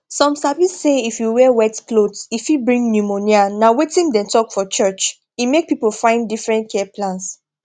some sabi say if you wear wet cloth e fit bring pneumonia na wetin dem talk for church e make people find different care plans